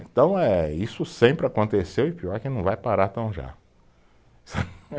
Então eh, isso sempre aconteceu e pior que não vai parar tão já.